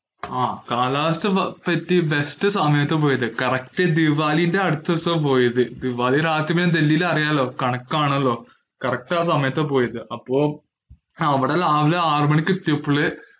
ആഹ്. കാലാവസ്ഥ നല്ല best സമയത്താ പോയത്. correct ദിവാലിന്റെ അടുത്ത ദിവസം ആണ് പോയത്. ദിവാലിന്റെ അന്നു ഡൽഹിയിൽ അറിയാല്ലോ കണക്കു ആണല്ലോ. correct ആ സമയത്താ പോയത്. അപ്പോ അവിടെ രാവിലെ ആറു മണിക് എത്തിയപ്പോ.